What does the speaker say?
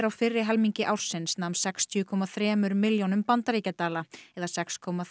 á fyrri helmingi ársins nam sextíu komma þremur milljónum bandaríkjadala eða sex komma